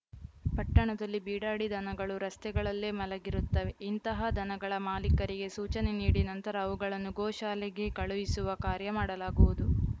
ಪಟ್ಟಣದಲ್ಲಿ ಬೀಡಾಡಿ ದನಗಳು ರಸ್ತೆಗಳಲ್ಲೇ ಮಲಗಿರುತ್ತವೆ ಇಂತಹ ದನಗಳ ಮಾಲೀಕರಿಗೆ ಸೂಚನೆ ನೀಡಿ ನಂತರ ಅವುಗಳನ್ನು ಗೋ ಶಾಲೆಗೆ ಕಳುಹಿಸುವ ಕಾರ್ಯ ಮಾಡಲಾಗುವುದು